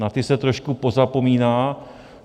Na ty se trošku pozapomíná.